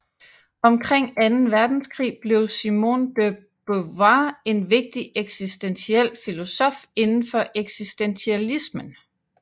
Omkring anden verdenskrig blev Simone de Beauvoir en vigtig eksistentiel filosof inden for eksistentialismen